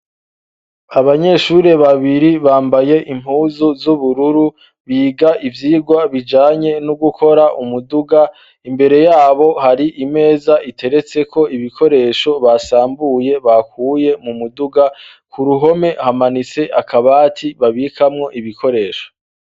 Abanyeshuri babiri bambaye impuzu z'ubururu biga ivyigwa bijanye no gukora umuduga imbere yabo hari imeza iteretseko ibikoresho basambuye bakuye mu muduga ku ruhome hamanitse akabati babikamwo ibikoresho.